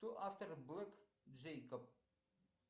кто автор блэк джейкоб